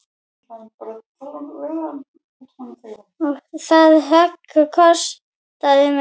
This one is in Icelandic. Það högg kostaði mig.